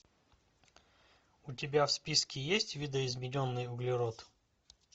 у тебя в списке есть видоизмененный углерод